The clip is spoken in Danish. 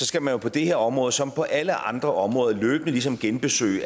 skal man jo på det her område som på alle andre områder løbende ligesom genbesøge